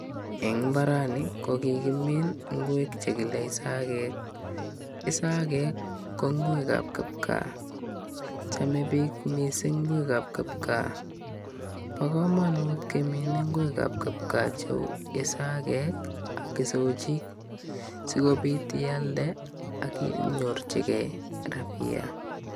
Eng' mbarani kokikimiin ngwek chekile isagek, isagek ko ngwekab kipkaa chomei biik mising' ngwekab kipkaa bo kamanut keminei ngwekab kipkaa cheu isakek ak isochik sikobit ialde akinyorchigei rapia